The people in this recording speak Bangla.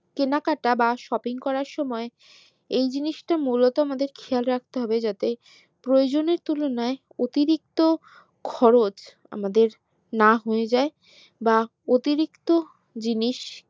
কেনাকাটা বা shopping করার সময় এই জিনিসটি মূলত আমাদের খেয়াল রাখতে হবে যাতে প্রয়োজনের তুলনায় অতিরিক্ত খরচ আমাদের যাই বা অতিরিক্ত জিনিস